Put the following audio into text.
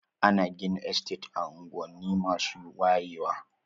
Ana gina Estate a unguwanni masu wayewa.